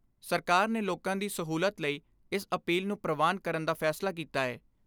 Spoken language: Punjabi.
ਸਰਕਾਰ ਨੇ ਲੋਕਾਂ ਦੀ ਸਹੂਲਤ ਲਈ ਇਸ ਅਪੀਲ ਨੂੰ ਪ੍ਰਵਾਨ ਕਰਨ ਦਾ ਫੈਸਲਾ ਕੀਤਾ ਏ।